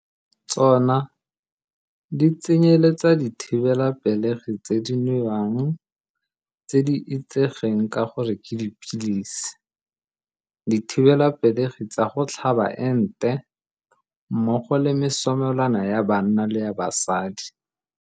Tsona di tsenyeletsa dithibelapelegi tse di nwewang, tse di itsegeng ka gore ke dipilisi, dithibelapelegi tsa go tlhaba ente, mmogo le mesomelwana ya banna le ya basadi.